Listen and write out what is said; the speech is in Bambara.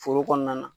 Foro kɔnɔna na